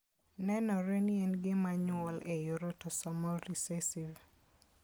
Nenore ni en gima nyuol e yor autosomal recessive.